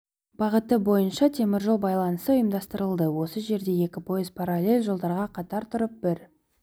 бағыты бойынша темір жол байланысы ұйымдастырылды осы жерде екі пойыз паралель жолдарға қатар тұрып бір